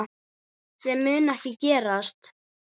Sem mun ekki gerast.